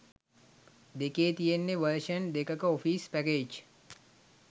දෙකේ තියෙන්නෙ වර්ෂන් දෙකක ඔෆීස් පැකේජ්.